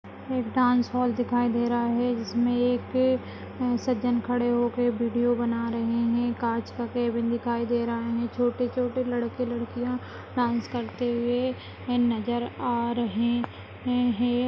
Dance hall दिखाई दे रहा है जिसमे एक सजन खड़े होकर वीडियो बना रहे है कांच का केबिन दिखाई दे रहा है छोटे-छोटे लड़के लड़किया डांस करते हुए नजर आ रहे है।